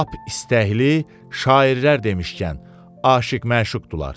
Lap istəkli, şairlər demişkən, aşiq-məşuqdurlar.